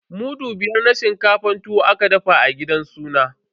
Mudu biyar na shinkafar tuwo aka dafa a gidan sunan.